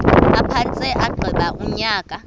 aphantse agqiba unyaka